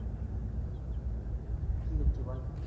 কি হচ্ছে বল?